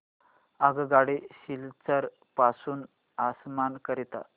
आगगाडी सिलचर पासून आसाम करीता